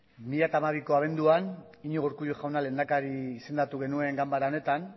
bi mila hamabiko abenduan iñigo urkullu jauna lehendakari izendatu genuen ganbara honetan